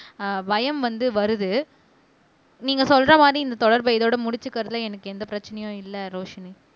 அஹ் பயம் வந்து வருது நீங்க சொல்ற மாதிரி இந்த தொடர்பை இதோட முடிச்சிக்கிறதுல எனக்கு எந்த பிரச்சனையும் இல்லை ரோஷினி